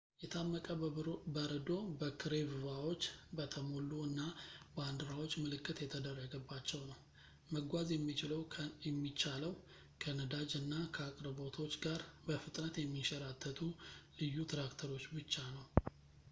የታመቀ በረዶ በክሬቭቫዎች በተሞሉ እና ባንዲራዎች ምልክት የተደረገባቸው ነው መጓዝ የሚቻለው ከነዳጅ እና ከአቅርቦቶች ጋር በፍጥነት የሚንሸራተቱ ልዩ ትራክተሮች ብቻ ነው